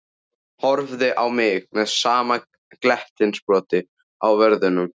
Horfði á mig með sama glettnisbrosið á vörunum.